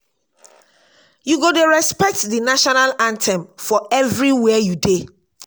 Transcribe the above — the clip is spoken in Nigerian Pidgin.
you go dey respect di national anthem for anywhere you dey.